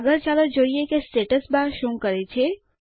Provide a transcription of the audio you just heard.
આગળ ચાલો જોઈએ કે સ્ટેટસ બાર શું કરે છે